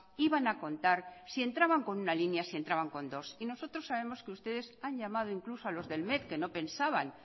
iban a contar ni si entraban con alguna línea o entraban con dos y nosotros sabemos que ustedes han llamado incluso a los del met que no pensaban